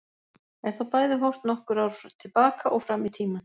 Er þá bæði horft nokkur ár til baka og fram í tímann.